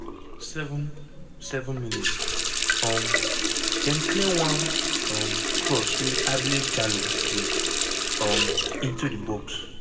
7 7 mins - um dem clear one um cross wey ablie jallow play um into di box.